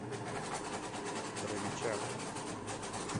боровичах